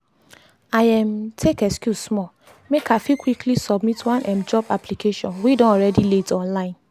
i um tak excuse small make i fit quickly submit one um job application wey don already late online.